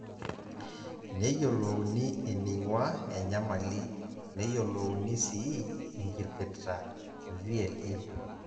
Neyiolouni eneing'ua enyamali, neyiolouni sii enkipirta e VLE